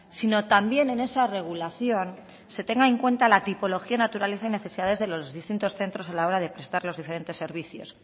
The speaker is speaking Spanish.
sino también en esa regulación se tenga en cuenta la tipología naturaleza y necesidades de los distintos centros a la hora de prestar los diferentes servicios